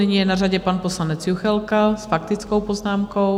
Nyní je na řadě pan poslanec Juchelka s faktickou poznámkou.